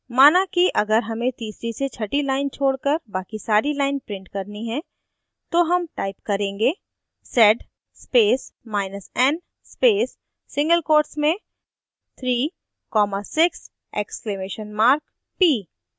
माना कि अगर हमें तीसरी से छठी lines छोड़कर बाकी सारी lines print करनी हैं तो हम type करेंगे: